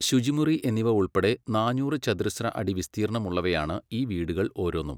ശുചിമുറി എന്നിവ ഉൾപ്പെടെ നാന്നൂറ് ചതുരശ്രഅടി വിസ്തീർണമുള്ളവയാണ് ഈ വീടുകൾ ഓരോന്നും.